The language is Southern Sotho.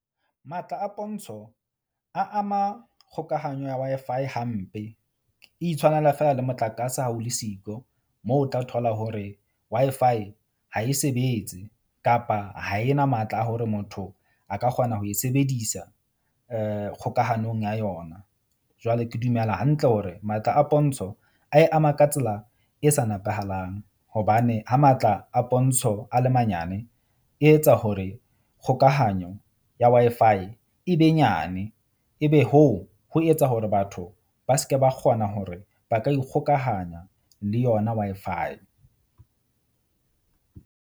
Matla a pontsho a ama kgokahanyo ya Wi-Fi hampe. E itshwanela feela le motlakase ha o le siko moo o tla thola hore Wi-Fi ha e sebetse, kapa ha e na matla a hore motho a ka kgona ho e sebedisa kgokahanong ya yona. Jwale ke dumela hantle hore matla a pontsho a e ama ka tsela e sa nepahalang. Hobane ha matla a pontsho a le manyane, e etsa hore kgokahanyo ya Wi-Fi e be nyane, ebe hoo ho etsa hore batho ba se ke ba kgona hore ba ka ikgokahanya le yona Wi-Fi.